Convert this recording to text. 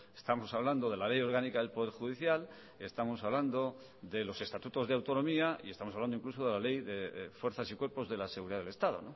estamos hablando de la ley orgánica del poder judicial estamos hablando de los estatutos de autonomía y estamos hablando incluso de la ley de fuerzas y cuerpos de la seguridad del estado